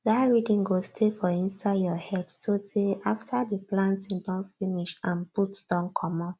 that rhythm go stay for inside your head so tey after the planting don finish and boots don comot